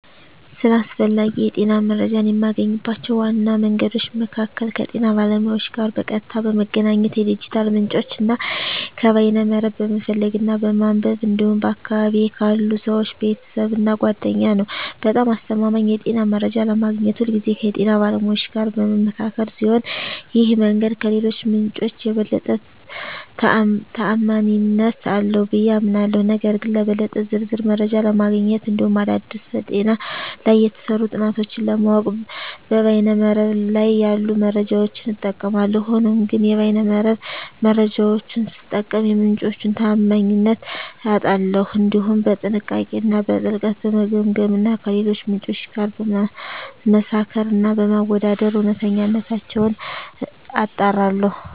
ስለ አስፈላጊ የጤና መረጃን የማገኝባቸው ዋና መንገዶች መካከል ከጤና ባለሙያዎች ጋር በቀጥታ በመገናኘት፣ ከዲጂታል ምንጮች እና ከበይነ መረብ በመፈለግ እና በማንበብ እንዲሁም በአካባቢየ ካሉ ሰወች፣ ቤተሰብ እና ጓደኛ ነዉ። በጣም አስተማማኝ የጤና መረጃ ለማግኘት ሁልጊዜ ከጤና ባለሙያዎች ጋር በምመካከር ሲሆን ይህ መንገድ ከሌሎቹ ምንጮች የበለጠ ተአማኒነት አለው ብየ አምናለሁ። ነገር ግን ለበለጠ ዝርዝር መረጃ ለማግኘት እንዲሁም አዳዲስ በጤና ላይ የተሰሩ ጥናቶችን ለማወቅ በይነ መረብ ላይ ያሉ መረጃዎችን እጠቀማለሁ። ሆኖም ግን የበይነ መረብ መረጃወቹን ስጠቀም የምንጮቹን ታአማኒነት አጣራለሁ፣ እንዲሁም በጥንቃቄ እና በጥልቀት በመገምገም እና ከሌሎች ምንጮች ጋር በማመሳከር እና በማወዳደር እውነተኝነታቸውን አጣራለሁ።